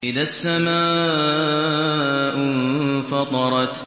إِذَا السَّمَاءُ انفَطَرَتْ